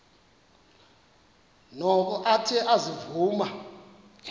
noko athe ezivuma